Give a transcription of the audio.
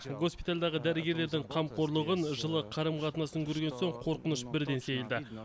госпитальдағы дәрігерлердің қамқорлығын жылы қарым қатынасын көрген соң қорқыныш бірден сейілді